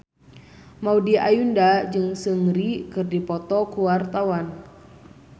Maudy Ayunda jeung Seungri keur dipoto ku wartawan